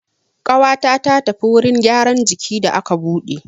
Ƙawata ta tafi wurin gyaran jiki da aka buɗe.